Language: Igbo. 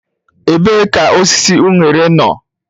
Ebee ka osisi unere no?.